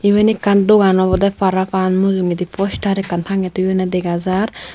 iben ekkan dogan obodey parapang mujungendi poster ekkan tangey toyondey dega jar.